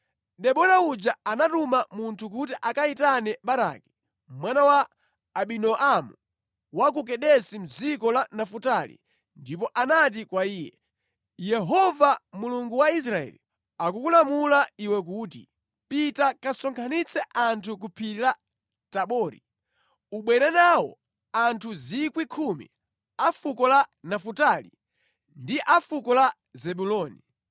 Debora uja anatuma munthu kuti akayitane Baraki mwana wa Abinoamu wa ku Kedesi mʼdziko la Nafutali ndipo anati kwa iye, “Yehova Mulungu wa Israeli akukulamula iwe kuti, ‘Pita kasonkhanitse anthu ku phiri la Tabori. Ubwere nawo anthu 10,000 a fuko la Nafutali ndi a fuko la Zebuloni.